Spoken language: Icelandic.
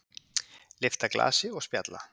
Lyfta glasi og spjalla.